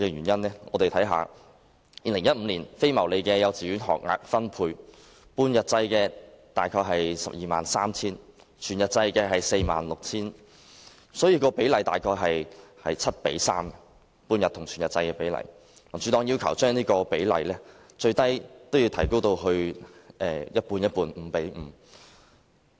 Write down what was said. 2015年非牟利幼稚園學額分配，半日制大約是 123,000， 全日制是 46,000， 半日與全日制的比例大約是 7：3， 民主黨要求將這比例最少提高至 5：5。